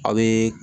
A bɛ